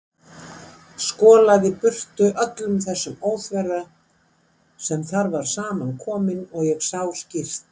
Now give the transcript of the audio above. Skolaði burtu öllum þessum óþverra sem þar var saman kominn og ég sá skýrt.